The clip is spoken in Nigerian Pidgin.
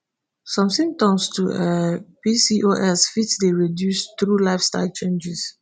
some symptoms of um pcos fit dey reduced through lifestyle changes.